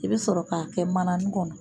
I bɛ sɔrɔ k'a kɛ mananin kɔnɔ.